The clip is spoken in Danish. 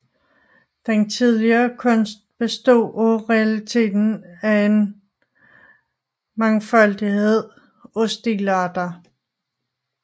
Den tidlige kunst bestod i realiteten af en mangfoldighed af stilarter